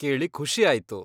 ಕೇಳಿ ಖುಷಿ ಆಯ್ತು.